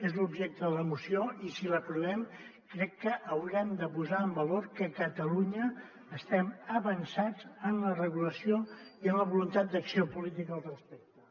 és l’objecte de la moció i si l’aprovem crec que haurem de posar en valor que a catalunya estem avançats en la regulació i en la voluntat d’acció política al respecte